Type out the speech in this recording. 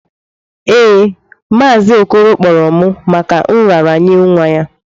Ee, Mazi okoro kporo m maka nraranye nwa ya.